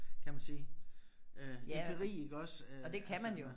Kan man sige øh empiri iggås øh altså